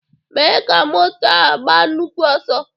Mee ka moto a gbaa nnukwu ọsọ!